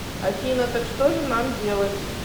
афина так что же нам делать